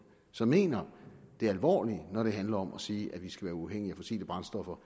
som mener det alvorligt når det handler om at sige at vi skal være uafhængige af fossile brændstoffer